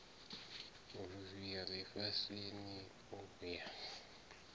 vhuluvhi ya lifhasini u ya